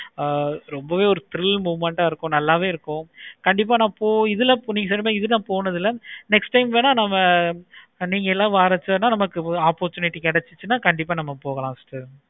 ஆஹ் ரொம்பவே thrill movement ஆஹ் இருக்கும். நல்லாவே இருக்கும். கண்டிப்பா நான் போய் இதுல இதுல போனது இல்லை. next time வென நம்ம நீங்க எல்லாம் வர சென்னை நமக்கு opportunity கிடைச்சின நம்ம கண்டிப்பா நம்ம எல்லாரும் போலாம்.